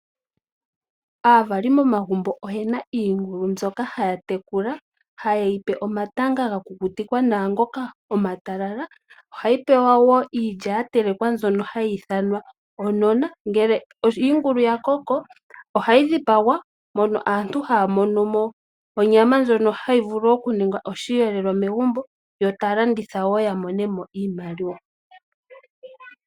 Aavali momagumbo oyena iingulu mbyoka haya tekula, haye yipe omatanga ga kukutikwa nawa ngoka omatalala, ohayi pewa wo iikulya ya telekwa mbyono hayi ithanwa onona. Ngele iingulu ya koko, ohayi dhipagwa, mono aantu haa mono mo onyama, ndjono hayi vulu okuningwa osheelelwa megumbo, yo taa landitha wo ya mone mo iimaliwa.